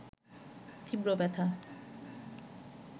তীব্র ব্যথা